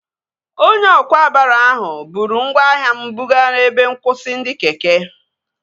Onye ọkwá baro ahụ bụrụ ngwaahịa m buga ebe nkwụsị ndị keke